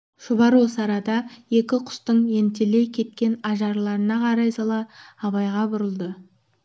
шұбар осы арада екі құстың ентелей кеткен ажарларына қарай сала абайға бұрылды